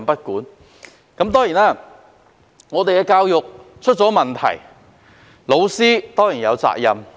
香港的教育出現問題，教師固然有責任。